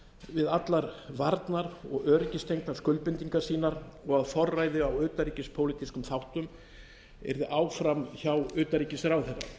við allar varnar og öryggistengdar skuldbindingar sínar og að forræði á utanríkispólitískum þáttum yrði áfram hjá utanríkisráðherra